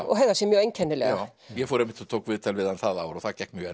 og hegðar sér mjög einkennilega ég fór einmitt og tók viðtal við hann það ár og það gekk mjög